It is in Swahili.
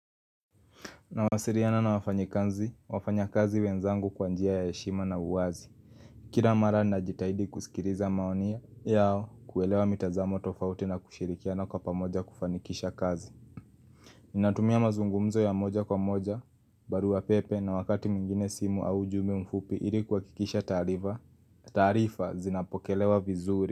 Nawasiliana na wafanyikazi, wafanyakazi wenzangu kwa njia ya heshima na uwazi Kila mara najitahidi kusikiliza maoni yao kuelewa mitazamo tofauti na kushirikiana kwa pamoja kufanikisha kazi Natumia mazungumzo ya moja kwa moja, barua pepe na wakati mwingine simu au ujumbe mfupi ili kuhakikisha taarifa taarifa zinapokelewa vizuri.